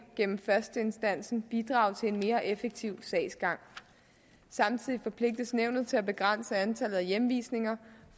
gennem førsteinstansen bidrage til en mere effektiv sagsgang samtidig forpligtes nævnet til at begrænse antallet af hjemvisninger